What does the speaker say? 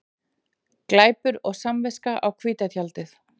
Glæpur og samviska á hvíta tjaldið